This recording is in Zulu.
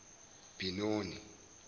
binoni